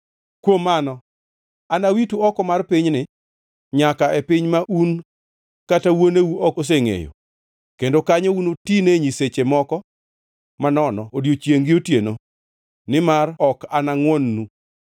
Kuom mano, anawitu oko mar pinyni nyaka e piny ma un kata wuoneu ok osengʼeyo, kendo kanyo unutine nyiseche moko manono odiechiengʼ gi otieno, nimar ok anangʼwon-nu.’ ”